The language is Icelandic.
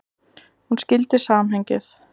Hún skildi samhengið.